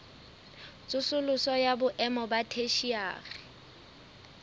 tsosoloso ya boemo ba theshiari